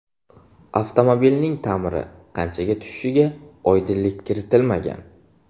Avtomobilning ta’miri qanchaga tushishiga oydinlik kiritilmagan.